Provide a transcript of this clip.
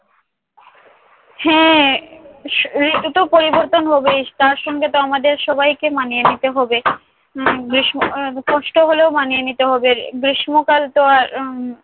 হ্যাঁ, ঋতুতো পরিবর্তন হবেই। তার সঙ্গেতো আমাদের সবাইকে মানিয়ে নিতে হবে। হম বেশ কষ্ট হলেও আমাদের মানিয়ে নিতে হবে। আর গ্রীষ্মকাল তো আর উম